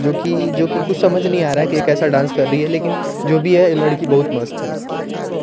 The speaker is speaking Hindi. जो कि जो कि कुछ समझ नही आ रहा है की केसा डांस कर रही है लेकिन जो भी है लड़की बोहोत मस्त है।